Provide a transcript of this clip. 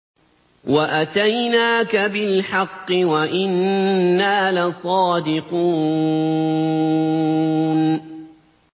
وَأَتَيْنَاكَ بِالْحَقِّ وَإِنَّا لَصَادِقُونَ